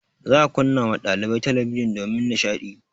Za a kunna ma ɗalibai talabijin domin nishaɗi.